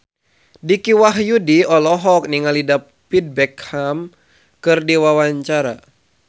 Dicky Wahyudi olohok ningali David Beckham keur diwawancara